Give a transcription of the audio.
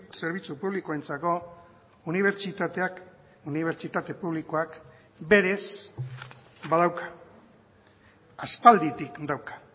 zerbitzu publikoentzako unibertsitateak unibertsitate publikoak berez badauka aspalditik dauka